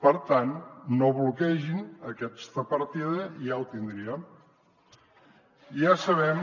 per tant no bloquegin aquesta partida i ja ho tindríem